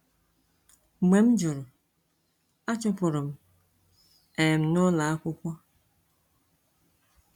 Mgbe m jụrụ, a chụpụrụ m um n’ụlọ akwụkwọ.